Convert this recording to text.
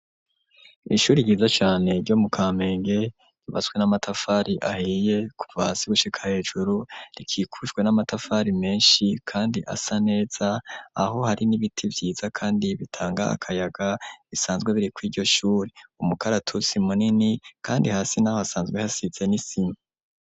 Ishuri ryiza cane ryo mu Kamenge ryubatswe n'amatafari ahiye kuva hasi gushika hejuru, rikikujwe n'amatafari menshi kandi asa neza, aho hari n'ibiti vyiza kandi bitanga akayaga bisanzwe birikw'iryo shuri, umukaratusi munini kandi hasi n'aho asanzwe hasize n'isima.